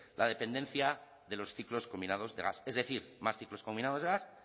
la dependencia de los ciclos combinados de gas es decir más ciclos combinados de gas